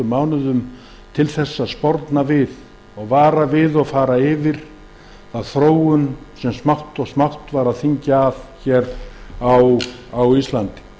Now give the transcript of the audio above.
mánuðum til þess að sporna og vara við og fara yfir þá þróun sem átti sér stað smátt og smátt á